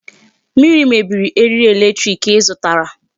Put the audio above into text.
Mmiri mebiri eriri electric ị zụtara.